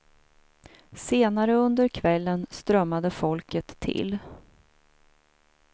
Senare under kvällen strömmade folket till.